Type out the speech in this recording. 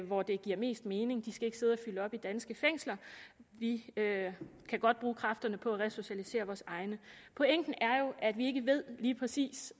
hvor det giver mest mening de skal ikke sidde og fylde op i danske fængsler vi kan godt bruge kræfterne på at resocialisere vores egne pointen er jo at vi ikke ved lige præcis